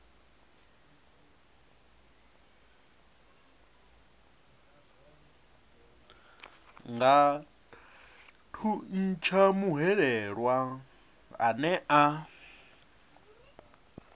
nga thuntsha muhwelelwa ane a